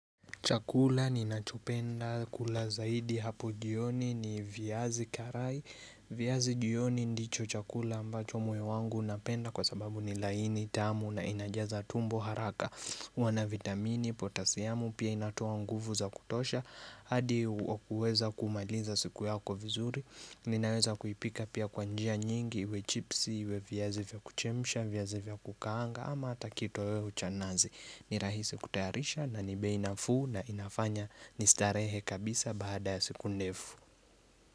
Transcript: Chakula ninachopenda kula zaidi hapo jioni ni viazi karai. Viazi jioni ndicho chakula ambacho moyo wangu unapenda kwa sababu ni laini tamu na inajaza tumbo haraka. Huwa na vitamini, potasiamu, pia inatoa nguvu za kutosha. Hadi huweza kumaliza siku yako vizuri. Ninaweza kuipika pia kwa njia nyingi, iwe chipsi, iwe viazi vya kuchemsha, viazi vya kukaanga ama ata kitoweo cha nazi. Ni rahisi kutayarisha nani bei nafuu na inafanya ni starehe kabisa basada ya siku ndefu.